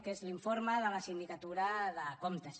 que és l’informe de la sindicatura de comptes